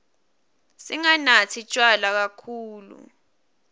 singanatsi tjwala kakhulu